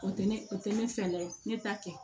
O tɛ ne o tɛ ne fɛla ye ne ta kɛ